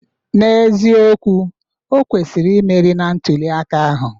N'eziokwu, o kwesịrị imeri na ntuli aka ahụ.